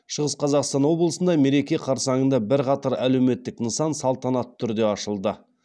шығыс қазақстан облысында мереке қарсаңында бірқатар әлеуметтік нысан салтанатты түрде ашылды